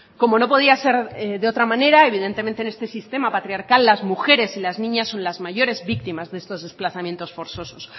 como no podía ser de otra manera evidentemente en este sistema patriarcal las mujeres y las niñas son las mayores víctimas de estos desplazamientos forzosos